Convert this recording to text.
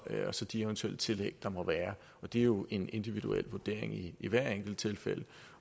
så de eventuelle tillæg der måtte være det er jo en individuel vurdering i i hvert enkelt tilfælde